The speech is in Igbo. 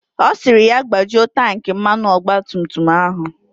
Ọ sịrị ya gbajuo tanki mmanụ ọgba tum tum ya.